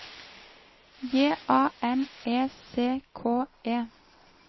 J A N E C K E